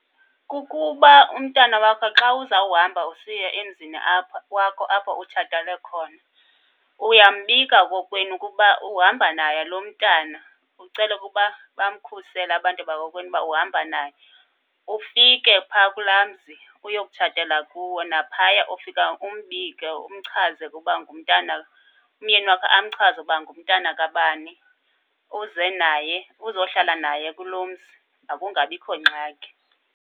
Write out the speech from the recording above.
Kukuba umntana wakho xa uzawuhamba usiya emzini apha, wakho apho utshatele khona, uyambika kokwenu ukuba uhamba naye lo mntana, ucela ukuba bamkhusele abantu bakokwenu uba uhamba naye. Ufike pha kulaa mzi uyokutshatela kuwo, naphaya ufika umbike umchaze ukuba ngumntana, umyeni wakho amchaze uba ngumntana kabani, uze naye uzohlala naye kuloo mzi makungabikho ngxaki.